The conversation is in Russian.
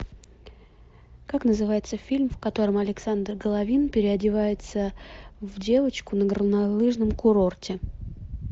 как называется фильм в котором александр головин переодевается в девочку на горнолыжном курорте